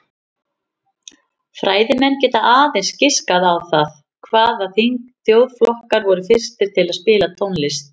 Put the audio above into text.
Fræðimenn geta aðeins giskað á það hvaða þjóðflokkar voru fyrstir til að spila tónlist.